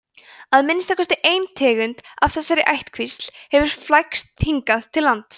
að minnsta kosti ein tegund af þessari ættkvísl hefur flækst hingað til lands